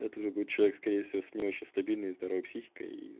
это уже будет человек скорее всего с не очень стабильной и здоровой психикой и